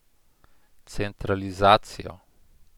Centralizacijo.